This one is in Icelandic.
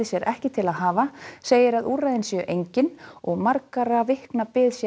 sér ekki til að hafa segir að úrræðin séu engin og margra vikna bið